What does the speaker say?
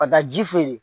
Ka taa ji feere